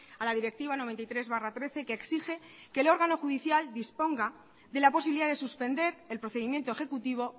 a la directiva noventa y tres barra trece que exige que el órgano judicial disponga de la posibilidad de suspender el procedimiento ejecutivo